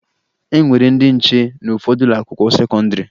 E nwere ndị nche n'ụfọdụ ụlọakwụkwọ sekọndịrị